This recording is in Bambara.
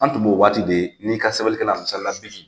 An tun b'o o waati de n'i ka sɛbɛnnikɛlan misali la .